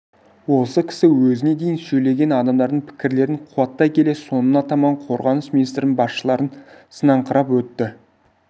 осы кісі өзіне дейін сөйлеген адамдардың пікірлерін қуаттай келе соңына таман қорғаныс министрінің басшыларын сынаңқырап өтті